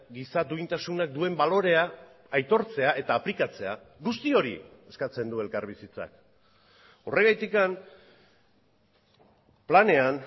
giza duintasunak duen balorea aitortzea eta aplikatzea guzti hori eskatzen du elkarbizitzak horregatik planean